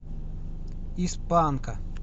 из панка